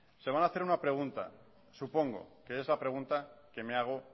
se van a hacer una pregunta supongo que es la pregunta que me hago